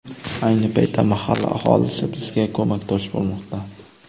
Ayni paytda mahalla aholisi bizga ko‘makdosh bo‘lmoqda.